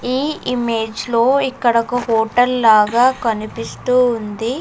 ఈ ఇమేజ్ లో ఇక్కడ ఒక హోటల్ లాగా కనిపిస్తూ ఉంది.